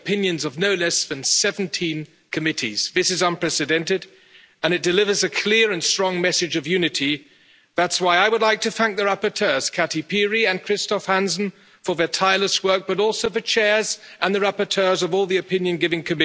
Todos los organismos internacionales nos alertan de que no es momento de escatimar esfuerzos sino de invertir para reactivar la economía. Hasta nuestros compañeros conservadores y liberales que en 2008 abogaban por la austeridad reconocen ahora que sería un gran error. Está bien, porque rectificar es de sabios, y ahora es el momento de remar todos en la misma dirección.